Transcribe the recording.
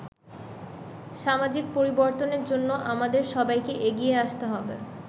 সামাজিক পরিবর্তনের জন্য আমাদের সবাইকেই এগিয়ে আসতে হবে”।